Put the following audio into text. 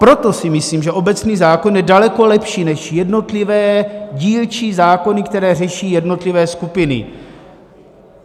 Proto si myslím, že obecný zákon je daleko lepší než jednotlivé dílčí zákony, které řeší jednotlivé skupiny.